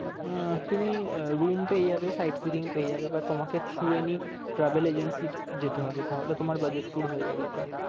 আহ তুমি room পেয়ে যাবে side fidding পেয়ে যাবে বা তোমাকে through any travel agency যেতে হবে তাহলে তোমার budget tour হয়ে যাবে এটা।